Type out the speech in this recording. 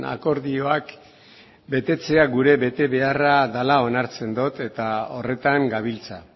akordioak betetzea gure betebeharra dela onartzen dut eta horretan gabiltza